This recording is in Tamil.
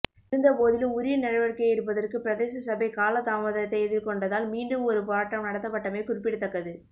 இருந்தபோதிலும் உரிய நடவடிக்கையை எடு்பபதற்கு பிரதேச சபை காலதாமதத்தை எதிர்கொண்டதால் மீண்டும் ஒரு போராட்டம் நடத்தப்பட்டமை குறிப்பிடதக்கது